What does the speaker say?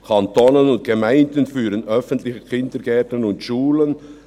«Kanton und Gemeinden führen öffentliche Kindergärten und Schulen.